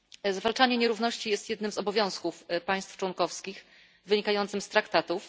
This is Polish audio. Zwalczanie nierówności jest jednym z obowiązków państw członkowskich wynikającym z Traktatów.